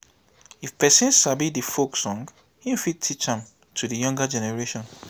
if perosn sabi di folk song im fit teach am to di younger generation